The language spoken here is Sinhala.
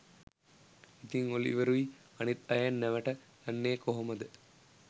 ඉතින් ඔලිවරුයි අනිත් අයයි නැවට යන්නේ කොහොමද?